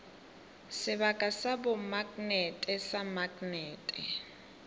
sebaka sa bomaknete sa maknete